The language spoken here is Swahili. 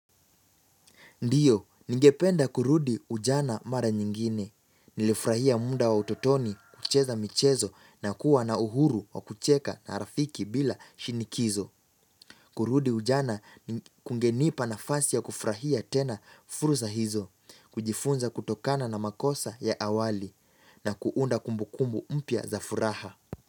Ndiyo, ningependa kurudi ujana mara nyingine. Nilifurahia mda wa utotoni, kucheza michezo na kuwa na uhuru wa kucheka na rafiki bila shinikizo. Kurudi ujana ni kungenipa nafasi ya kufurahia tena fursa hizo, kujifunza kutokana na makosa ya awali na kuunda kumbukumbu mpya za furaha.